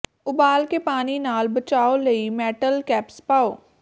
ਉਬਾਲ ਕੇ ਪਾਣੀ ਨਾਲ ਬਚਾਉ ਲਈ ਮੈਟਲ ਕੈਪਸ ਪਾਓ